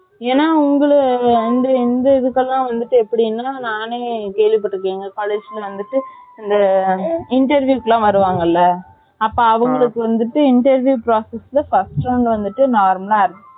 ஏன்னா உங்க இந்த எங்க இதுக்குலாம் எப்படின்னா நானே கேள்வி பட்டுருக்கேன் எங்க College க்கு வந்துட்டு அந்த interview க்கு வருவாங்களா அப்போ அவங்களுக்கு வந்துட்டு first round வந்துட்டு normal ல aptitude